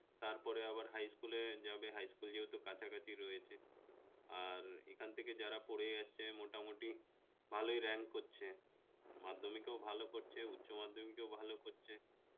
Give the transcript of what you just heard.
তারপরে আবার high school এ যাবে high school যেহেতু কাছাকাছি রয়েছে আর এখান থেকে যারা পড়ে যাচ্ছে মোটামুটি ভালোই rank করছে মাধ্যমিকেও ভালো করছে উচ্চমাধ্যমিকেও ভালো করছে